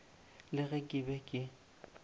le ge ke be ke